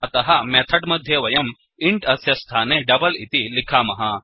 अतः मेथड् मध्ये वयं इन्ट् अस्य स्थाने डबल इति लिखामः